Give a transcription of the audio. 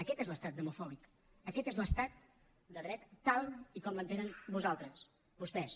aquest és l’estat demofòbic aquest és l’estat de dret tal com l’entenen vostès